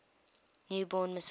new born messiah